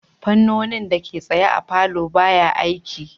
Fannonin dake tsaye a palour baya aiki